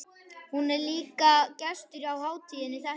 Hún er líka gestur á hátíðinni þetta árið.